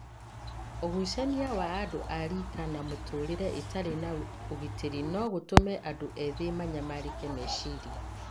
Ũgucania wa andũ ariika na mĩtũũrĩre ĩtarĩ na ũgitĩri no gũtũme andũ ethĩ manyamarĩke meciria.